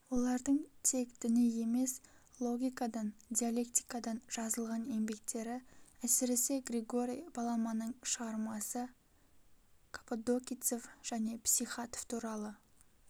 олардың тек діни емес логикадан диалектикадан жазылған еңбектері әсіресе григорий паламанын шығармасы каппадокийцев және психатов туралы